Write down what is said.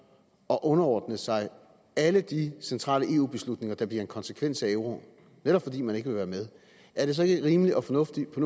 at underordne sig alle de centrale eu beslutninger der bliver en konsekvens af euroen netop fordi man ikke vil være med er det så ikke rimeligt og fornuftigt på